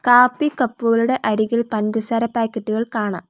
കാപ്പി കപ്പുകളുടെ അരികിൽ പഞ്ചസാര പാക്കറ്റുകൾ കാണാം.